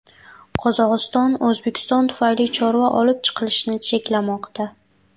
Qozog‘iston O‘zbekiston tufayli chorva olib chiqilishini cheklamoqda.